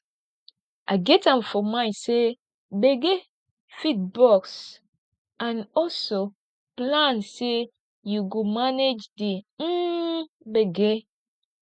get am for mind sey gbege fit burst and also plan sey you go manage di um gbege